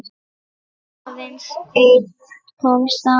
Aðeins einn komst af.